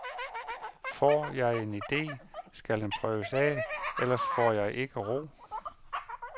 Får jeg en idé, skal den prøves af, ellers får jeg ikke ro.